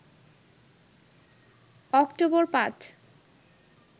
October ৫